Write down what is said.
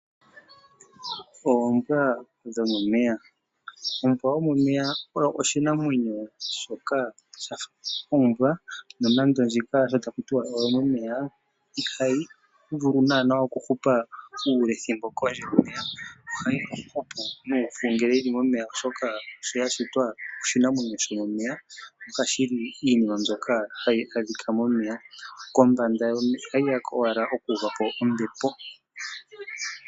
Oombwa dhomomeya oshoo oshinamwenyo shafa oombwa nonando ndjika ota ku tuwa oyo momeya no ihayi vulu nana oku hupa ule yoli kondje yomeya. Ohayi hupu nupu ngele yili momeya oshoka sho ya shitwa oshi namwenyo sho momeya noha shi li iinima mbyoka hayi adhika momeya noha shiya owala kombanda oku uva po ombepo.